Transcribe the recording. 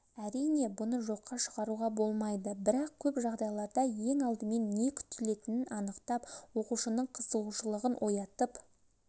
әрине бұны жоққа шығаруға болмайды бірақ көп жағдайларда ең алдымен не күтілетінін анықтап оқушының қызығушылығын оятып